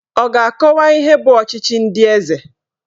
Ọ ga-akọwa ihe bụ ọchịchị ndị eze?